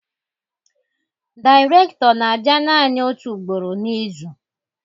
Dairekto na-abia nanị otu ugboro n'izu